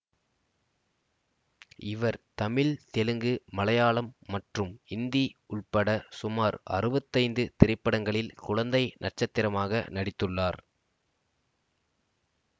இவர் தமிழ் தெலுங்கு மலையாளம் மற்றும் இந்தி உள்பட சுமார் அறுபத்தி ஐந்து திரைப்படங்களில் குழந்தை நட்சத்திரமாக நடித்துள்ளார்